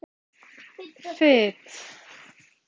Fit